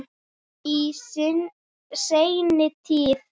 Í seinni tíð.